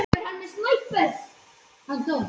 Komið þið í kappát stelpur? það var Fúsi sem bað.